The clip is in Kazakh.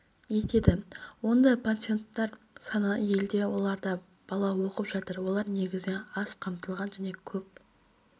етеді ондай пансионаттар саны елде оларда бала оқып жатыр олар негізінен аз қамтылған және көп